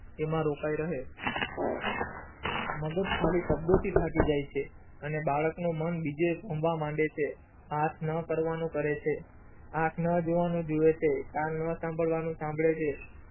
એમાં રોકાય રહે મગજ ખાલી શબ્દ થી થાકી જય છે અને બાળક નુ મન બુજે ભમવા માંડે છે આયથ ન કરવાનું કરે છે આંખન જોવાનું જોવે છે કાં ન સંભારવાનું સાંભરે છે